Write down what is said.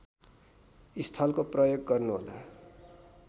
स्थलको प्रयोग गर्नुहोला